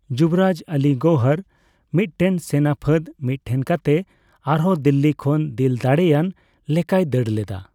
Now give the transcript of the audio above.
ᱡᱩᱵᱨᱟᱡᱽ ᱟᱞᱤ ᱜᱚᱣᱦᱚᱨ ᱢᱤᱫᱴᱮᱱ ᱥᱮᱱᱟ ᱯᱷᱟᱹᱫ ᱢᱤᱫᱴᱷᱮᱱ ᱠᱟᱛᱮ ᱟᱨᱦᱚᱸ ᱫᱤᱞᱞᱤ ᱠᱷᱚᱱ ᱫᱤᱞᱫᱟᱲᱮᱭᱟᱱ ᱞᱮᱠᱟᱭ ᱫᱟᱹᱲ ᱞᱮᱫᱟ ᱾